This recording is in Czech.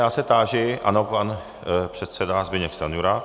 Já se táži - ano, pan předseda Zbyněk Stanjura.